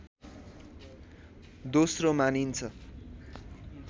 दोस्रो मानिन्छ